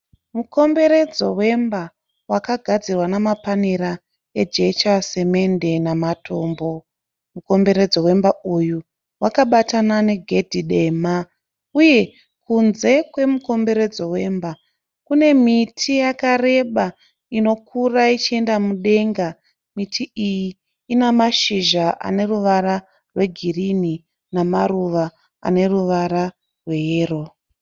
Mukomberedzo wemba wakagadzirwa namapanera ejecha, simende namatombo. Mukomberedzo wemba uyu wakabatana negedhi dema, uye kunze kwemukomberedzo wemba kune miti yakareba inokura uchienda mudenga. Miti iyi inamashizha aneruvara rwegirinhi namaruva aneruvara rweyero.